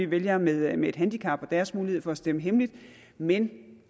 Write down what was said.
vælgere med et med et handicap og deres mulighed for at stemme hemmeligt men